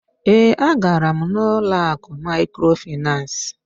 Ee, a gara m n'ụlọ akụ mikrofinas.